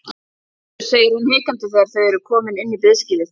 Heyrðu, segir hann hikandi þegar þau eru komin inn í biðskýlið.